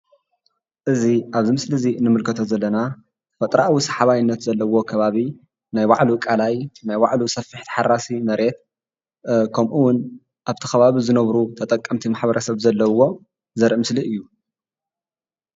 እዚ ኣብዚ ምስሊ እዚ እንምልከቶ ዘለና ተፈጥራኣዊ ሰሓባይነት ዘለዎ ከባቢ ናይ ባዕሉ ቃላይ ናይ ባዕሉ ሰፊሕ ተሓራሲ መሬት ከምኡ እውን ኣብቲ ከባቢ ዝነብሩ ተጠቀምቲ ማሕበረ ሰብ ዘለዎ ዘርኢ ምስሊ እዩ፡፡